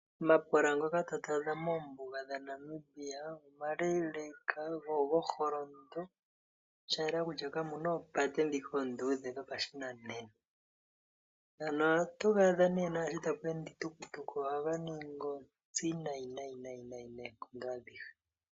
Omapola ngoka ta twaadha moombuga dha Namibia omaleeleka go ogo holondo. Sha yela kutya kamuna oopate dhi oondudhe dhopashinanena. Ngano ohatu ga adha nee naashi tapu ende iitukutuku ohapu ningi ontsi nayi nayi noonkondo adhihe.